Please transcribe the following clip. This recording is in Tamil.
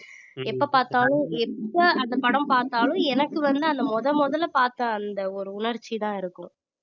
எப்ப பார்த்தாலும் எப்ப அந்த படம் பார்த்தாலும் எனக்கு வந்து அந்த முதல் முதல்ல பார்த்த அந்த ஒரு உணர்ச்சி தான் இருக்கும்